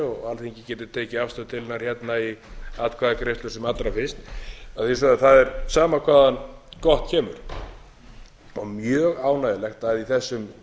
og alþingi geti tekið af stöðu til hennar hérna í atkvæðagreiðslu sem allra fyrst að vísu það er sama hvaðan gott kemur mjög ánægjulegt að í þessum